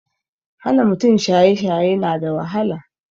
Hana mutane shaye shaye na da wahala